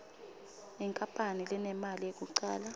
inkapani lenemali yekucala